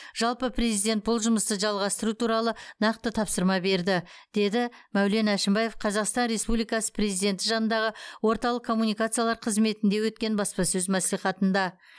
жалпы президент бұл жұмысты жалғастыру туралы нақты тапсырма берді деді мәулен әшімбаев қазақстан республикасы президенті жанындағы орталық коммуникациялар қызметінде өткен баспасөз мәслихатында